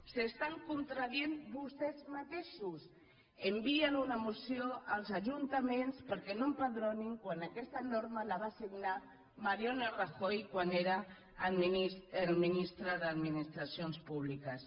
s’estan contradient vostès mateixos envien una moció als ajuntaments perquè no empadronin quan aquesta norma la va signar mariano rajoy quan era el ministre d’administracions públi·ques